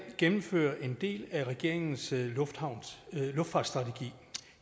gennemfører en del af regeringens luftfartsstrategi